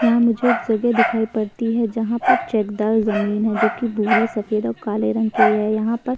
यहाँ मुझे एक जगह दिखाई पड़ती है जहाँ पर चेकदार जमीन है जोकि भूरी सफेद और काले रंग की है। यहाँ पर --